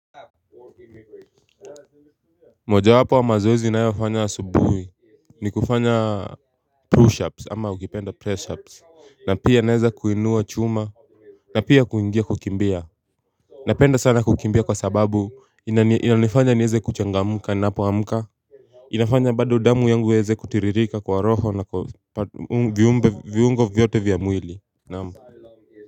Moja wapo ya mazoezi ninayofanya asubuhi ni kufanya pushups ama ukipenda pressups na pia naweza kuinua chuma na pia kuingia kukimbia na penda sana kukimbia kwa sababu inanifanya niweze kuchangamka nina po amka inafanya bado damu yangu iweze kutiririka kwa roho na viungo vyote vyamwili naam.